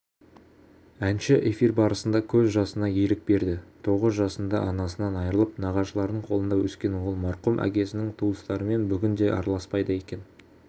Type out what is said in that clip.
әнші эфир барысында көз жасына ерік берді тоғыз жасында анасынан айырылып нағашыларының қолында өскен ол марқұм әкесінің туыстарымен бүгінде араласпайды екен